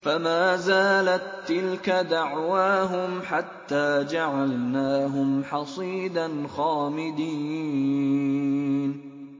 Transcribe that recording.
فَمَا زَالَت تِّلْكَ دَعْوَاهُمْ حَتَّىٰ جَعَلْنَاهُمْ حَصِيدًا خَامِدِينَ